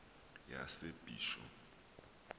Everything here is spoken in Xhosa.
yasebisho